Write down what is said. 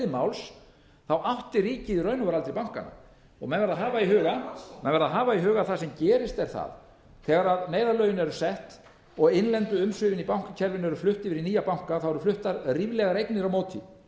máls átti ríkið í raun og veru aldrei bankana menn verða að hafa í huga að það sem gerist er það að þegar neyðarlögin eru sett og innlendu umsvifin í bankakerfinu eru flutt yfir í nýja banka eru fluttar ríflegar eignir á móti